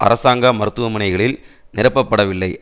அரசாங்க மருத்துவமனைகளில் நிரப்பப்படவில்லை